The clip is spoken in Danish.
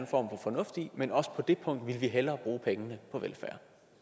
for fornuft i men også på det punkt vil vi hellere bruge pengene på velfærd